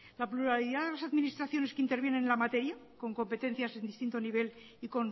la pluralidad de las administraciones que intervienen en la materia con competencias en distinto nivel y